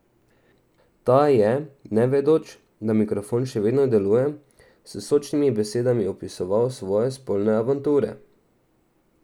Ta je, nevedoč, da mikrofon še vedno deluje, s sočnimi besedami opisoval svoje spolne avanture.